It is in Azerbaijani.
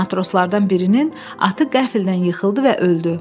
Matroslardan birinin atı qəflətən yıxıldı və öldü.